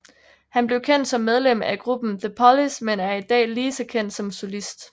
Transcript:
Han blev kendt som medlem af gruppen The Police men er i dag lige så kendt som solist